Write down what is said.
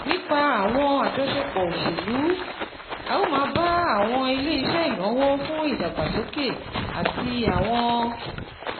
Nípa àwọn àjọṣepọ̀ òṣèlú, a óò máa bá àwọn ilé iṣẹ́ ìnáwó fún ìdàgbàsókè àti àwọn